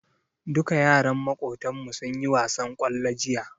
Duka yaran Makotan mu sunyi wasan kwallo jiya